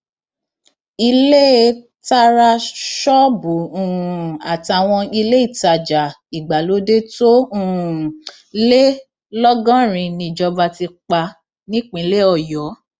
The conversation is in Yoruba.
ilée tará ṣọọbù um àtàwọn iléetajà ìgbàlódé tó um lé lọgọrin níjọba ti pa nípínlẹ ọyọ